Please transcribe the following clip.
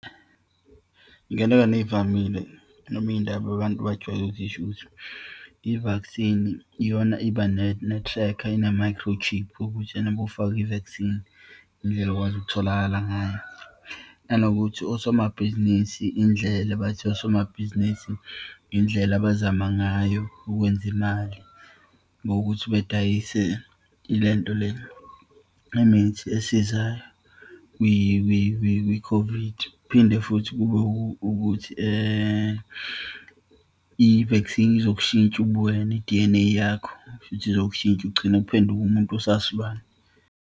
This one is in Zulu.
Iyinganekwane eyivamile noma iyindaba abantu abajwayele ukuthi zisho ukuthi, i-vaccine iyona iba ne-tracker, ine-micro chip ukuthi ena uma ufake i-vaccine, indlela okwazi ukutholakala ngayo. Nanokuthi osomabhizinisi indlela, bathi osomabhizinisi indlela abazama ngayo ukwenza imali, ngokuthi bedayise ilento le, imithi esiza kwi-COVID. Kuphinde futhi kube ukuthi i-vaccine izokushintsha ubuwena, i-D_N_A yakho, kushuthi izokushintsha ugcine uphenduke umuntu osasilwane.